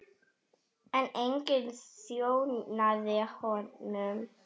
En enginn þjónaði honum.